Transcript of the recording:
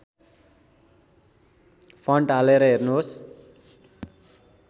font हालेर हेर्नुहोस्